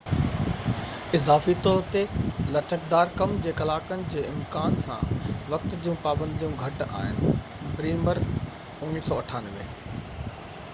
اضافي طور تي، لچڪدار ڪم جي ڪلاڪن جي امڪان سان وقت جون پابنديون گهٽ آهن. بريمر، 1998